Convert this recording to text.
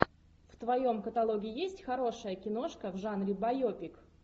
в твоем каталоге есть хорошая киношка в жанре байопик